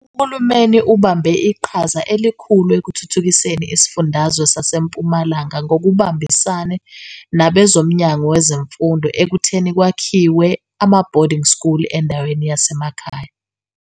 UHulumeni ubambe iqhaza elikhulu ekuthuthukiseni isifundazwe sase Mpumalanga ngokubambisane nabezoMnyango Wezemfundo ekutheni kwakhiwe ama "boarding school" endaweni yasemakhaya.